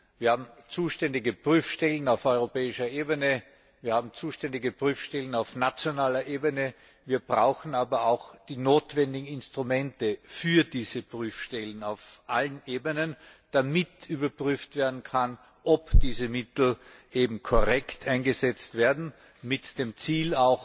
Wir haben zuständige Prüfstellen auf europäischer Ebene, wir haben zuständige Prüfstellen auf nationaler Ebene, wir brauchen aber auch die notwendigen Instrumente für diese Prüfstellen auf allen Ebenen, damit überprüft werden kann, ob diese Mittel korrekt eingesetzt werden, mit dem Ziel,